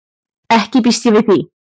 Ekki býst ég við því.